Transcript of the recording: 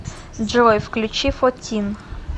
джой включи фотин